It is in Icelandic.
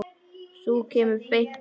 Sú kemur beint að efninu!